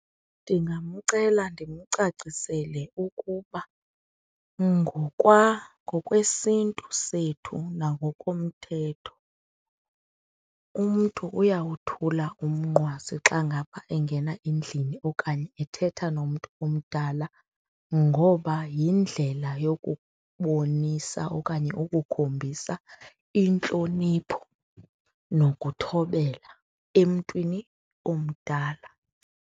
Ndingamcela ndimcacisele ukuba ngokwesiNtu sethu na ngokomthetho, umntu uyawothula umnqwazi xa ngaba engena endlini okanye ethetha nomntu omdala ngoba yindlela yokubonisa okanye ukukhombisa intlonipho nokuthobela emntwini omdala.